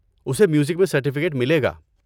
اسے میوزک میں سرٹیفکیٹ ملے گا۔